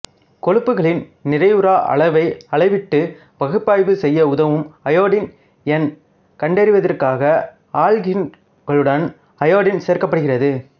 கொழுப்புகளின் நிறைவுறா அளவை அளவிட்டு பகுப்பாய்வு செய்ய உதவும் அயோடின் எண் கண்டறிவதற்காக ஆல்கீன்களுடன் அயோடின் சேர்க்கப்படுகிறது